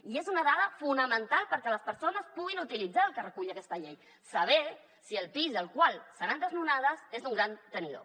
i és una dada fonamental perquè les persones puguin utilitzar el que recull aquesta llei saber si el pis del qual seran desnonades és d’un gran tenidor